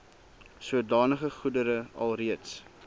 sodanige goedere alreeds